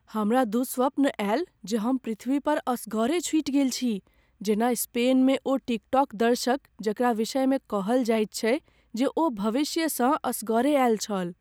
हमरा दुःस्वप्न आयल जे हम पृथ्वी पर असगरे छुटि गेल छी जेना स्पेन मे ओ टिकटॉक दर्शक जकरा विषयमे कहल जायत छै जे ओ भविष्यसँ असगरे आयल छल।